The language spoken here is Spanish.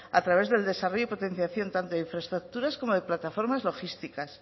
a través del desarrollo y potenciación tanto de infraestructuras como de plataformas logísticas